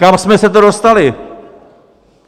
Kam jsme se to dostali?